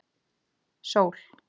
Sól